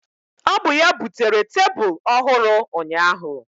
Ọ bụ ya butere tebụl ọhụrụ ụnyaahụ.